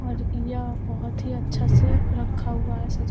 और य बहोत ही अच्छा से रक्खा हुआ है सजा --